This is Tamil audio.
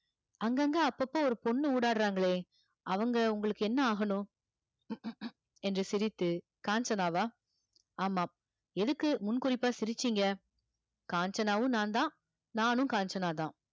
அங்கங்க அப்பப்போ ஒரு பொண்ணு ஊடாடுறாங்களே அவங்க உங்களுக்கு என்ன ஆகணும் என்று சிரித்து காஞ்சனாவா ஆமாம் எதுக்கு முன் குறிப்பா சிரிச்சீங்க காஞ்சனாவும் நான்தான் நானும் காஞ்சனாதான்